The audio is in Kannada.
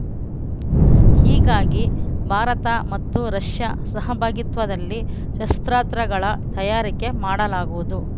ಹೀಗಾಗಿ ಭಾರತ ಮತ್ತು ರಷ್ಯ ಸಹಭಾಗಿತ್ವದಲ್ಲಿ ಶಸ್ತ್ರಾಸ್ತ್ರಗಳ ತಯಾರಿಕೆ ಮಾಡಲಾಗುವುದು